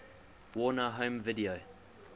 warner home video